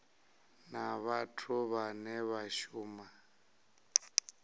na vhathu vhane vha shuma